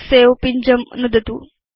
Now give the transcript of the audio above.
सवे पिञ्जं नुदतु